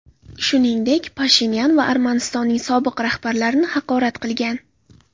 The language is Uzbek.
Shuningdek, Pashinyan va Armanistonning sobiq rahbarlarini haqorat qilingan.